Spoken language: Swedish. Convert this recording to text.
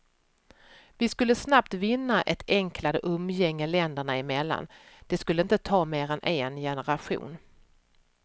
Vi skulle snabbt vinna ett enklare umgänge länderna emellan, det skulle inte ta mer än en generation.